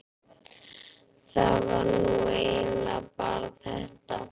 það var nú eiginlega bara þetta.